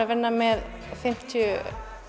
að vinna með fimmtíu